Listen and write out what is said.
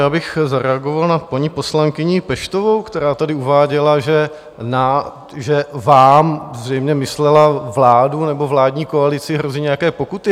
Já bych zareagoval na paní poslankyni Peštovou, která tady uváděla, že vám - zřejmě myslela vládu nebo vládní koalici - hrozí nějaké pokuty.